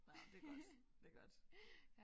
Nåh det er godt det er godt